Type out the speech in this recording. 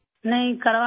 نہیں، کروایا تھا